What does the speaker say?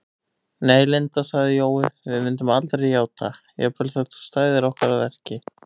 Nei, Linda sagði Jói, við myndum aldrei játa, jafnvel þótt þú stæðir okkur að verki